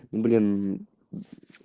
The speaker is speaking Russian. блин